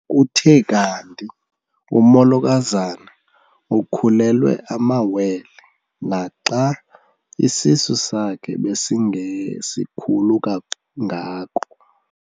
Kuthe kanti umolokazana ukhulelwe amawele naxa isisu sakhe besingesikhulu kangako.